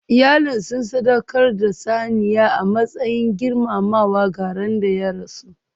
Iyalinsu sun sadaukar da saniya a matsayin girmamawa ga ran da ya rasu.